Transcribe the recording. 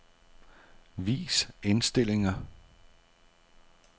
Vis indstillinger.